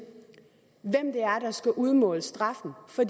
er der skal udmåle straffen for